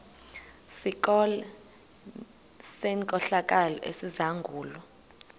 sikolo senkohlakalo esizangulwa